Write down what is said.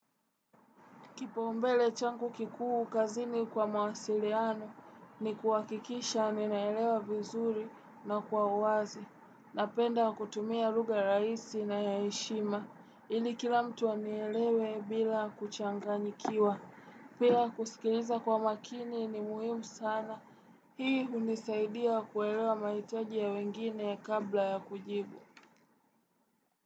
Kipaumbele changu kikuu kazini kwa mawasiliano ni kuhakikisha ninaelewa vizuri na kwa uwazi. Napenda kutumia lugha rahisi na ya heshima ili kila mtu anielewe bila kuchanganyikiwa. Pia kusikiliza kwa makini ni muhimu sana. Hii hunisaidia kuelewa mahitaji ya wengine kabla ya kujibu.